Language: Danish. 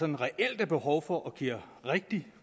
der reelt er behov for og som giver rigtig